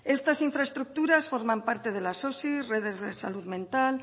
estas infraestructuras forman parte de las osi redes de salud mental